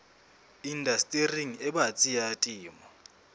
indastering e batsi ya temo